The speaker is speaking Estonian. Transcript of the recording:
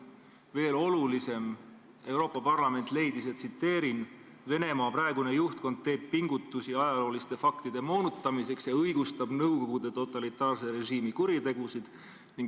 Aga veel olulisem on, et Euroopa Parlament leidis, et Venemaa praegune juhtkond teeb pingutusi ajalooliste faktide moonutamiseks ja õigustab Nõukogude totalitaarse režiimi kuritegusid.